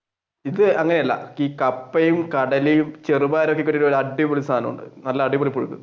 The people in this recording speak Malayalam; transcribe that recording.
ഇത് അങ്ങനെയല്ല കപ്പയും കടലയും ചെറുപയറും ഒക്കെ ഇട്ട് അടിപൊളി സാധനമുണ്ട് നല്ല അടിപൊളി